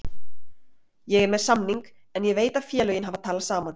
Ég er með samning en ég veit að félögin hafa talað saman.